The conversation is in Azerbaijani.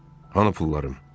Hanı pullarım?